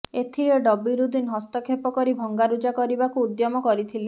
ଏଥିରେ ଡବିରଉଦ୍ଦିନ ହସ୍ତକ୍ଷେପ କରି ଭଙ୍ଗାରୁଜା କରିବାକୁ ଉଦ୍ୟମ କରିଥିଲେ